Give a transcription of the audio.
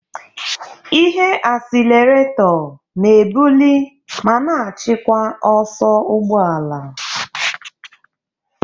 Ihe asilerato na-ebuli ma na-achịkwa ọsọ ụgbọ ala.